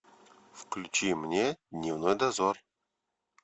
включи мне дневной дозор